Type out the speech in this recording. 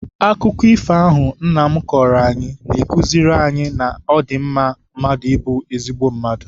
Akụkọ ifo ahụ nna m kọọrọ anyị na-akuziri anyị na ọ dị mma mmadụ ịbụ ezigbo mmadụ.